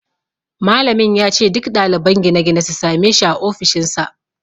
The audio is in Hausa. Malamin ya ce duk ɗaliban gine-gine su same shi a ofishinsa